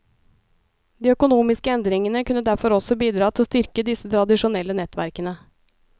De økonomiske endringene kunne derfor også bidra til å styrke disse tradisjonelle nettverkene.